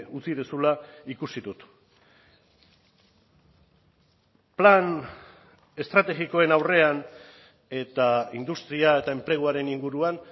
utzi duzula ikusi dut plan estrategikoen aurrean eta industria eta enpleguaren inguruan